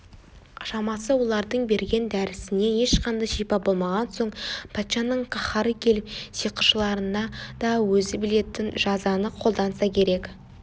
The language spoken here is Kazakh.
шамасы олардың берген дәрісінен ешқандай шипа болмаған соң патшаның қаһары келіп сиқыршыларына да өзі білетін жазаны қолданса керек